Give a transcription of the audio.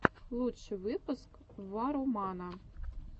лучший выпуск варромана